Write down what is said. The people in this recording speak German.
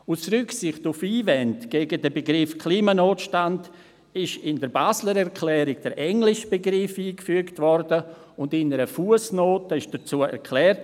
Aus Rücksicht auf Einwände gegen den Begriff Klimanotstand wurde in der Basler Erklärung der englische Begriff eingefügt und in einer Fussnote dazu erklärt: